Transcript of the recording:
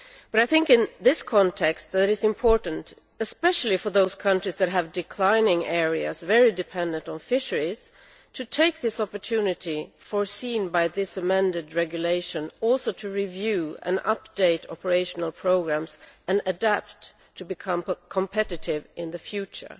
I think that in this context, it is important especially for those countries that have declining areas which are very dependent on fisheries to take the opportunity offered by this amended regulation also to review and update operational programmes and adapt in order to become competitive in the future.